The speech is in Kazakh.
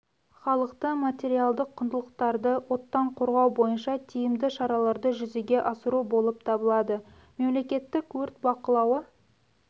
халықты материалдық құндылықтарды оттан қорғау бойынша тиімді шараларды жүзеге асыру болып табылады мемлекеттік өрт бақылауы